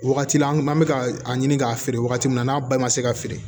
Wagati la an bɛ ka a ɲini k'a feere wagati min na n'a ba ma se ka feere